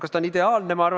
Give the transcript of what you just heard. Kas ta on ideaalne?